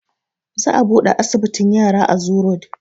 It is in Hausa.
Za a buɗe asibitin yara a zoo road